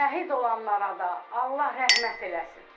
Şəhid olanlara da Allah rəhmət eləsin.